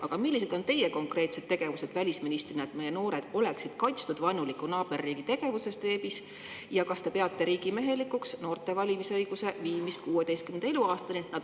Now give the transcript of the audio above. Aga millised on teie konkreetsed tegevused välisministrina, et meie noored oleksid kaitstud vaenuliku naaberriigi tegevuse eest veebis, ja kas te peate riigimehelikuks noorte valimisõiguse viimist 16. eluaastani?